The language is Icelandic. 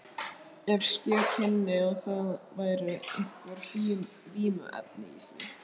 Ef ske kynni það væru einhver vímuefni í því!